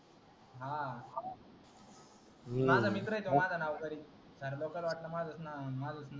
हा माझा मित्र